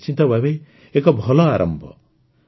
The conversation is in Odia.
ଏହା ନିଶ୍ଚିତ ଭାବେ ଏକ ଭଲ ଆରମ୍ଭ